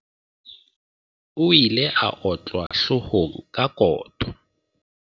o ile a otlwa hloohong ka koto